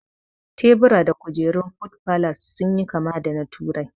Tebura da kujerun food falas sun yi kama da na turai